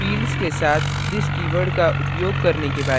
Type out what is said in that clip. fields के साथ this keyword का उपयोग करने के बारे में